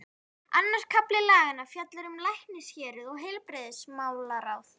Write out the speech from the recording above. Annar kafli laganna fjallar um læknishéruð og heilbrigðismálaráð.